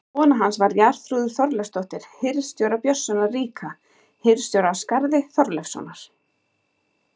Kona hans var Jarþrúður Þorleifsdóttir hirð- stjóra, Björnssonar ríka, hirðstjóra á Skarði, Þorleifssonar.